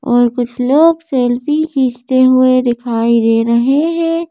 और कुछ लोग सेल्फी खींचते हुए दिखाई दे रहे हैं।